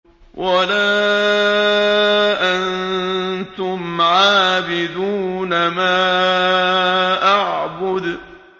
وَلَا أَنتُمْ عَابِدُونَ مَا أَعْبُدُ